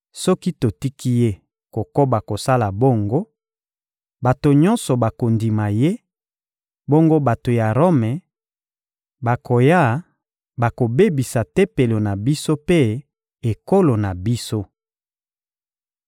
Soki totiki ye kokoba kosala bongo, bato nyonso bakondima ye; bongo bato ya Rome bakoya bakobebisa Tempelo na biso mpe ekolo na biso.